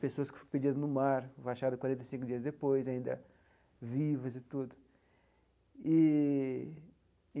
Pessoas que ficou perdidas no mar, acharam quarenta e cinco dias depois, ainda vivas e tudo eee e.